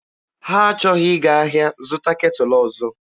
Ha achọghị ịga ahịa zụta ketụlụ ọzọ.